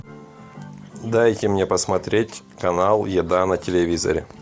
дайте мне посмотреть канал еда на телевизоре